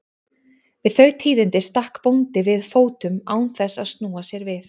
Við þau tíðindi stakk bóndi við fótum án þess að snúa sér við.